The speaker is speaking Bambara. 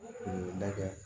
O ye dajɛ